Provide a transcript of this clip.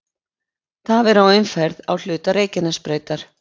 Tafir á umferð á hluta Reykjanesbrautar